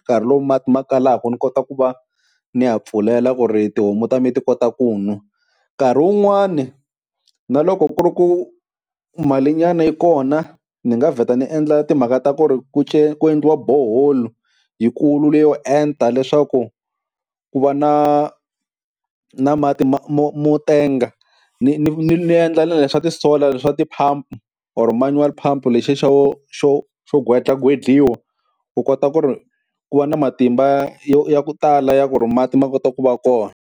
nkarhi lowu mati ma kalaka ni kota ku va ni ya pfulela ku ri tihomu ta mi ti kota ku nwa, nkarhi wun'wani na loko ku ri ku mali nyana yi kona ni nga vheta ni endla timhaka ta ku ri ku ku endliwa borehole yikulu leyo enta, leswaku ku va na na mati ma mo mo tenga, ni ni ni ni endla na leswa ti-solar swa ti-pump or manual pump lexiya xo xo xo gwetlagwedliwa, u kota ku ri ku va na matimba yo ya ku tala ya ku ri mati ma kota ku va kona.